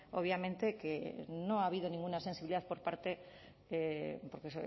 obviamente que no ha habido ninguna sensibilidad por parte de porque